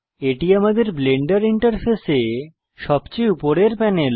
এটি আমাদের ব্লেন্ডার ইন্টারফেসে সবচেয়ে উপরের প্যানেল